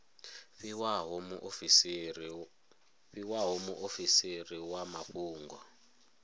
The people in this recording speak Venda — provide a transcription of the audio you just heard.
fhiwaho muofisiri wa zwa mafhungo